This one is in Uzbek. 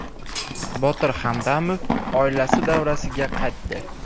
Botir Hamdamov oilasi davrasiga qaytdi.